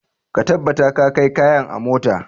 Ka tabbata ka kai kayan a mota.